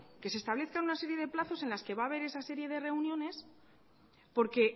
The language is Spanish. que se establezcan una serie de plazos en los que va a haber esa serie de reuniones porque